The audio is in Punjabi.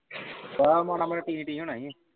ਆ ਮਾੜਾ ਮਾੜਾ ਟੀ ਟੀ ਹੋਣਾ ਈ।